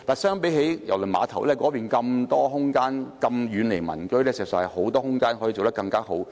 相比之下，郵輪碼頭有大量空間、遠離民居，可以比大球場做得更好。